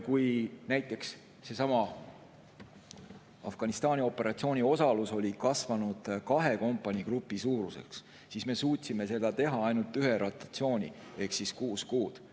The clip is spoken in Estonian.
Kui näiteks osalus sellessamas Afganistani operatsioonis oli kasvanud kahe kompanii suuruseks, siis me suutsime ainult ühe rotatsiooni ehk kuus kuud.